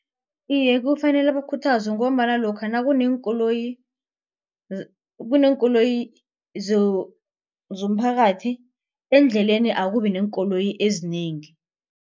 Iye, kufanele bakhuthazwe ngombana lokha kuneenkoloyi kuneenkoloyi zomphakathi endleleni akubi neenkoloyi ezinengi.